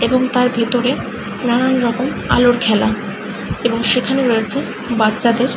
এবং তার ভেতরে নানান রকম আলোর খেলা। এবং সেখানে রয়েছে বাচ্চাদের--